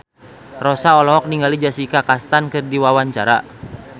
Rossa olohok ningali Jessica Chastain keur diwawancara